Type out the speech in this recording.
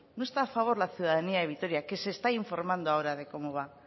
no está a favor la ciudadanía de vitoria que se está informando ahora de cómo va